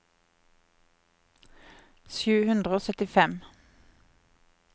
sju hundre og syttifem